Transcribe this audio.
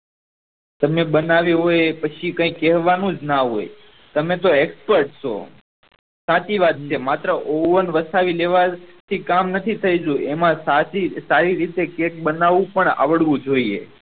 તમે બનાવ્યું હોય પછી કાયિક કેહ્વાનું જ ન હોય તમે તો expert છો સાચી વાત છે માત્ર ઓવન વસાવી લેવા થી કામ નથી થયી જતું એમાં સાચી સારી રીતે કેક બનાડવું પણ આવડું જોયીયે